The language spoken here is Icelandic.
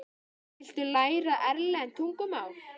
Viltu læra erlent tungumál?